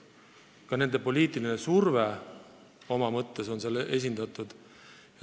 Ja ka nende poliitiline surve on seal alati olemas.